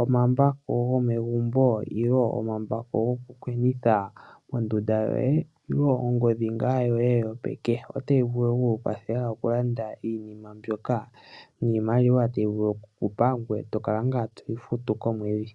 omambako gomegumbo nenge omambako gokukwenitha mondunda yoye ongondhi ngaa yoye yopeke. otayi vulu vulu okuku kwathela okulanda innima mbyoka niimalowa tayi vulu ngaa okukupa ngoye tokala ngaa toyi futu komwedhi.